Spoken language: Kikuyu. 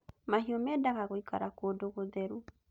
Mahiũ mendaga gũikara kũndũ gũtheru